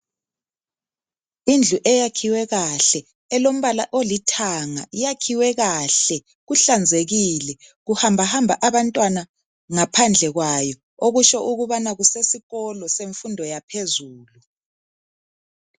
Indlu eyakhiwe kahle elombala olithanga yakhiwe kahle kuhlanzekile kuhambahamba abantwana ngaphandle kwayo okutsho ukubana kusesikolo semfundo yaphezulu .